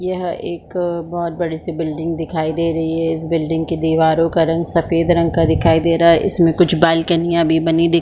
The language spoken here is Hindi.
यह एक बहोत बड़े से बिल्डिंग दिखाई दे रही है इस बिल्डिंग की दीवारों का रंग सफ़ेद रंग का दिखाई दे रहा है इसमे कुछ बालकनियाँ भी बनी दिख--